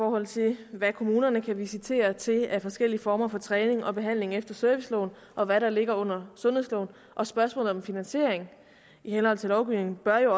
forhold til hvad kommunerne kan visitere til af forskellige former for træning og behandling efter serviceloven og hvad der ligger under sundhedsloven og spørgsmålet om finansiering i henhold til lovgivningen bør jo